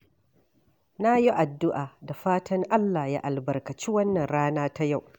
Na yi addu’a da fatan Allah ya albarkaci wannan rana ta yau.